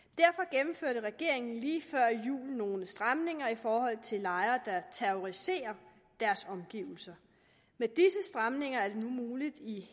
gennemførte regeringen lige før jul nogle stramninger i forhold til lejere der terroriserer deres omgivelser med disse stramninger er det nu muligt i